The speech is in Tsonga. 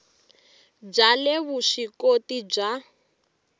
bya le vusw ikoti bya